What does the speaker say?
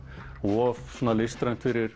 of listrænt fyrir